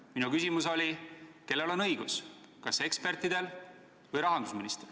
Minu küsimus oli, kellel on õigus, kas ekspertidel või rahandusministril.